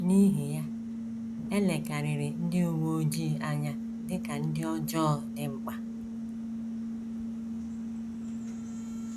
N’ihi ya, e lekarịrị ndị uwe ojii anya dị ka ndị ọjọọ dị mkpa.